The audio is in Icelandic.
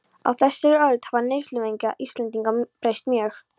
Á þessari öld hafa neysluvenjur Íslendinga breyst mjög.